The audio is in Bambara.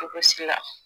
Ko si la